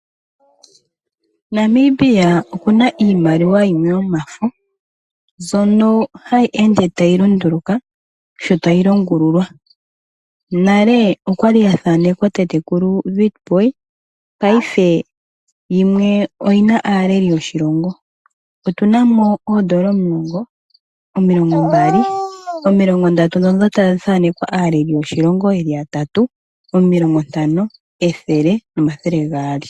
Namibia okuna iimaliwa yimwe yomafo mbyono hayi ende tayi lunduluka yo tayi longululwa. Nale oyali ya thaanekwa tatekulu Witbooi nena yimwe iyina aaleli yoshilongo. Otuna mo oodola omulongo, omilongo mbali, omilongo ndatu ndhono dhathaanekwa aaleli yoshilongo yeli yatatu, omilongo ntano, ethele nomathele gaali.